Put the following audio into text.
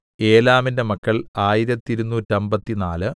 ഏലാമിന്റെ മക്കൾ ആയിരത്തിരുനൂറ്റമ്പത്തിനാല്